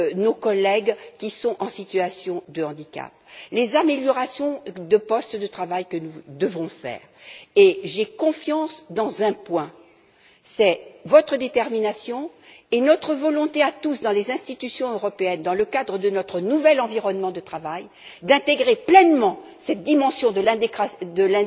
de nos collègues qui sont en situation de handicap et les améliorations des postes de travail auxquelles nous devons procéder. Et si j'ai confiance dans un point, c'est dans votre détermination et notre volonté à tous dans les institutions européennes, dans le cadre de notre nouvel environnement de travail, d'intégrer pleinement cette dimension